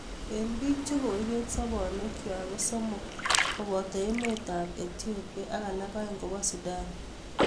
eng bik chokoibeet sobonwek kwak ko somok kobo emotab Ethiopia ak alak aeng kobo Sudan